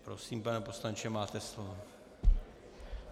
Prosím, pane poslanče, máte slovo.